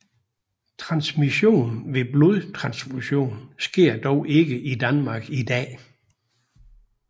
Transmission ved blodtransfusion sker dog ikke i Danmark i dag